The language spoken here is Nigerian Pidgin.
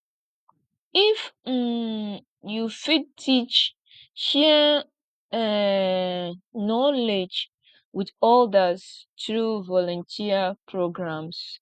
if um yu fit teach share um knowledge with odas tru volunteer programs